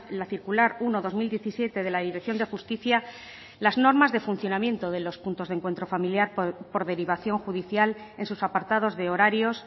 la circular uno barra dos mil diecisiete de la dirección de justicia las normas de funcionamiento de los puntos de encuentro familiar por derivación judicial en sus apartados de horarios